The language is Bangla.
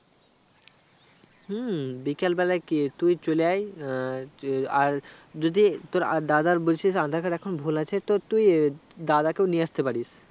হুম বিকেলবেলা কি তুই চলে আই আহ আর যদি তোর আদাদার বলছিস aadhar card এখন ভুল আছে তো তুই দাদাকেও নিয়ে আস্তে পারিস